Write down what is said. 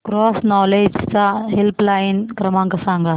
cross knowledge चा helpline क्रमांक सांगा